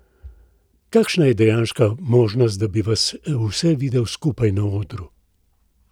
Kakšna je dejanska možnost, da bi vas vse videli skupaj na odru?